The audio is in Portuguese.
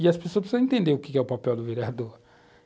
E as pessoas precisam entender o que é o papel do vereador.